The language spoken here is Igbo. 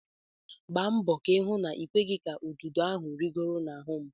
Gba mbọ hụ na-ịkweghị ka ududo ahụ rịgoro n'ahụ m!